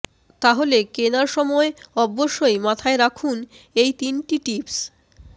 তাহলে কেনার সময় অবশ্যই মাথায় রাখুন এই তিনটি টিপস